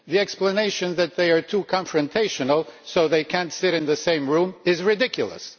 The explanation that they are too confrontational, so they cannot sit in the same room, is ridiculous.